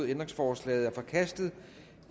ændringsforslaget er forkastet